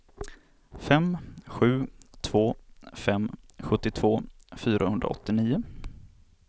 fem sju två fem sjuttiotvå fyrahundraåttionio